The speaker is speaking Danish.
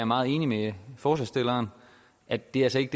meget enig med forslagsstillerne at det altså ikke